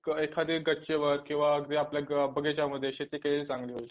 एखादी गच्चीवर किंवा आपल्या बगिच्यामध्ये शेती केलेली चांगली होईल